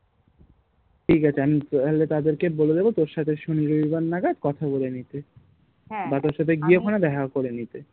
ঠিক আছে আমি তাহলে তাদের কে বলে দেব তোর সাথে শনি রবিবার নাগাদ কথা বলে নিতে বা তর সাথে গিয়ে ওখানে দেখা করে নিতে